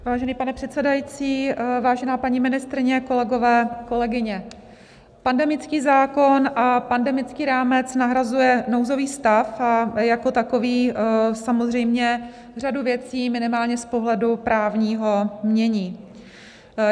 Vážený pane předsedající, vážená paní ministryně, kolegové, kolegyně, pandemický zákon a pandemický rámec nahrazuje nouzový stav a jako takový samozřejmě řadu věcí minimálně z pohledu právního mění.